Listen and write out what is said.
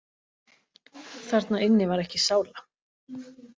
Þarna inni var ekki sála.